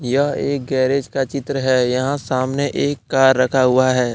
यह एक गैरेज का चित्र है यहां सामने एक कार रखा हुआ है।